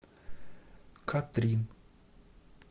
катрин